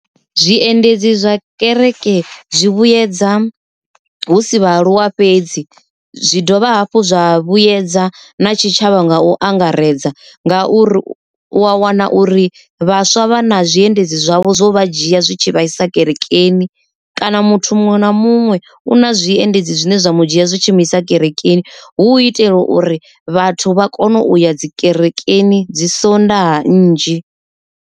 Zwiendedzi zwa kereke zwi vhuyedza hu si vhaaluwa fhedzi zwi dovha hafhu zwa vhuedza na tshitshavha nga u angaredza, ngauri u a wana uri vhaswa vha na zwiendedzi zwavho zwo vha dzhia zwitshi vhaisa kerekeni. Kana muthu muṅwe na muṅwe u na zwiendedzi zwine zwa mu dzhia zwi tshi mu isa kerekeni hu itela uri vhathu vha kone uya dzi kerekeni dzi sondaha nnzhi.